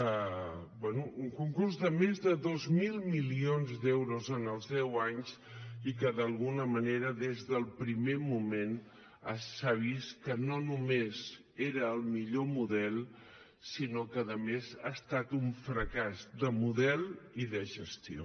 bé un concurs de més de dos mil milions d’euros en els deu anys i que d’alguna manera des del primer moment s’ha vist que no només era el millor model sinó que a més ha estat un fracàs de model i de gestió